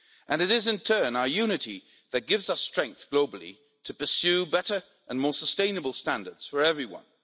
It is in turn our unity that gives us strength globally to pursue better and more sustainable standards for everyone